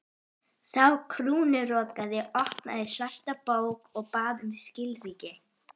Sá krúnurakaði opnaði svarta bók og bað um skilríki.